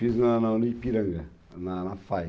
Fiz na na Unipiranga, na na Fae.